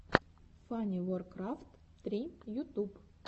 фаниворкрафт три ютуб